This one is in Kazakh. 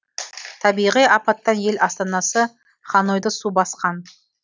табиғи апаттан ел астанасы ханойды су басқан